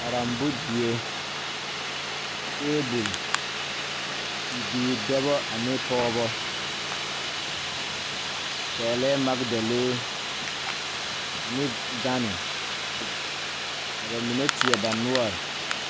Karembo die tabol bibiire dɔbɔ ane pɔɔbɔ pɛglɛɛ magdalee ane gane ka ba mine teɛ ba noɔre.